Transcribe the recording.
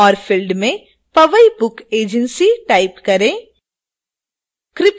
और field में powai book agency type करें